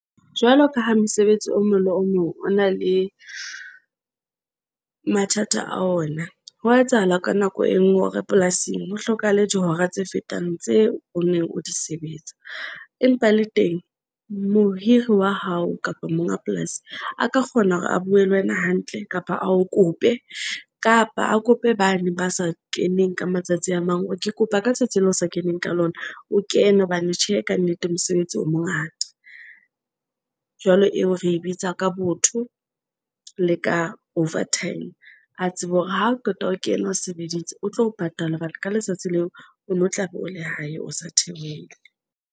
Jwalo ka ha mosebetsi o mong le o mong o na le mathata a ona, hwa etsahala ka nako e nngwe hore polasing ho hlokahale dihora tse fetang tseo o neng o di sebetsa. Empa le teng mohiri wa hao kapa monga polasi a ka kgona hore a bue le wena hantle kapa a o kope kapa a kope bane ba sa keneng ka matsatsi a mang hore ke kopa ka tsatsi leo o sa keneng ka lona. O kene hobane tjhe ka nnete mosebetsi o mongata jwalo. Eo re bitsa ka botho le ka Overtime. A tsebe hore ha o qeta ho kena o sebeditse o tlo o patala batho ka letsatsi leo ono tlabe o lehae, o sa theohele.